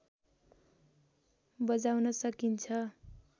बजाउन सकिन्छ